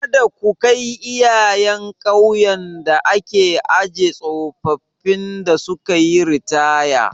Kada ku kai iyayen ƙauyen da ake ajiye tsofaffin da sukayi ritaya.